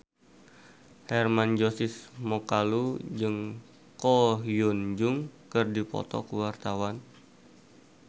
Hermann Josis Mokalu jeung Ko Hyun Jung keur dipoto ku wartawan